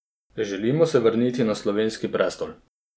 Želimo se vrniti na slovenski prestol.